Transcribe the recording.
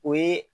O ye